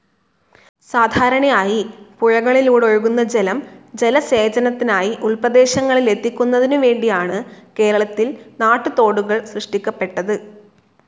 സാധാരണയായി പുഴകളിലൂടൊഴുകുന്ന ജലം ജലസേചനത്തിനായി ഉൾപ്രദേശങ്ങളിലെത്തിക്കുന്നതിനുവേണ്ടിയാണ് കേര‌ളത്തിൽ നാട്ടുതോടുകൾ സൃഷ്ടിക്കപ്പെട്ടത്.